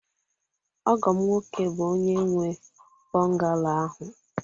ọgọ m nwoke bụ onye nwe bungalow ahụ